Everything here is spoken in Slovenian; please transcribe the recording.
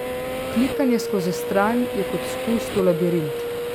Klikanje skozi stran je kot spust v labirint.